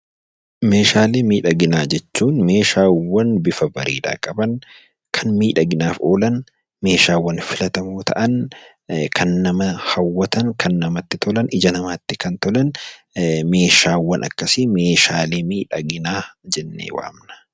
Meeshaalee miidhaginaa jechuun meeshaawwan bifa miidhaginaa qaban, kan miidhaginaaf oolan, kan filatamoo ta'an, kan nama hawwatoo ta'an, kan namatti tolun, ija namaatti tolan, meeshaawwan akkasii meeshaa miidhaginaa jennee waamna.